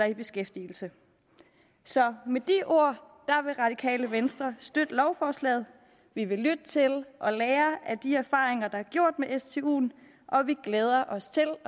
i beskæftigelse så med de ord vil radikale venstre støtte lovforslaget vi vil lytte til og lære af de erfaringer der er gjort med stuen og vi glæder os til